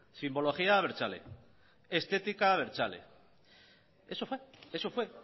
simbología abertzale estética abertzale eso fue